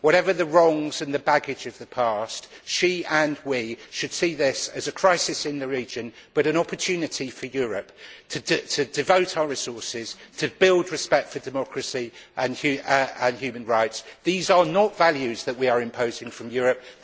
Whatever the wrongs and the baggage of the past, she and we should see this as a crisis in the region but an opportunity for Europe to devote our resources to building respect for democracy and human rights. These are not values that we are imposing from Europe.